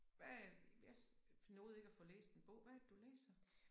Hvad jeg jeg nåede ikke at få læst en bog hvad er det du læser?